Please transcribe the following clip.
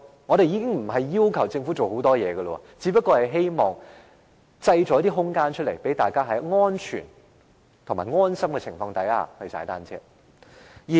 我們並沒有要求政府做很多，只希望當局可以製造一些空間，讓大家在安全和安心的情況下踏單車。